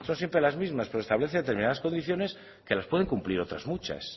son siempre las mismas pero establece determinadas condiciones que las pueden cumplir otras muchas